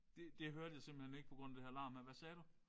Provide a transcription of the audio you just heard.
Det det hørte jeg simpelthen ikke på grund af det her larm her. Hvad sagde du?